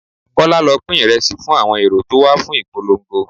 Kọ́lá, lọ pín Ìrẹsì fún àwọn èrò tó wà fún ìpolongo.